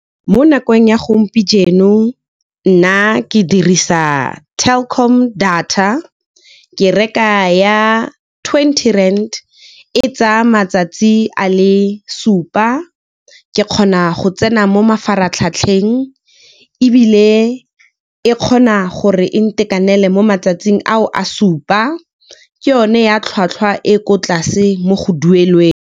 Mo nakong ya nna ke dirisa Telkom data, ke reka ya twenty rand, e tsaya matsatsi a le supa. Ke kgona go tsena mo mafaratlhatlheng ebile e kgona gore e ntekanele mo matsatsing ao a supa, ke yone ya tlhwatlhwa e ko tlase mo go duelelweng.